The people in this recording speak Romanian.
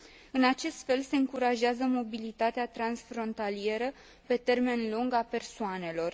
În acest fel, se încurajează mobilitatea transfrontalieră pe termen lung a persoanelor.